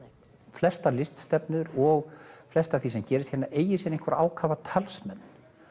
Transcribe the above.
flestar og flest af því sem gerist hérna eigi sér ákafa talsmenn